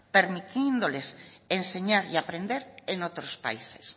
permitiéndoles enseñar y aprender en otros países